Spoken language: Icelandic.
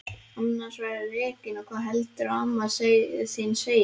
Annars verðurðu rekinn og hvað heldurðu að amma þín segi!